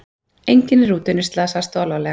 Enginn í rútunni slasaðist þó alvarlega